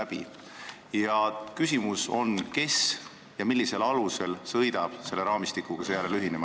Mu küsimus on, kes ja millisel alusel sõidab seejärel selle raamistikuga ühinema.